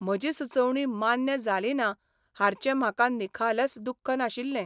म्हजी सुचोवणी मान्य जाली ना हार्चे म्हाका निखालस दुख्ख नाशिल्ले.